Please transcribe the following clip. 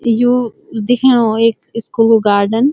यू देखेणु ऐक school garden.